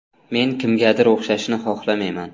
Men kimgadir o‘xshashni xohlamayman.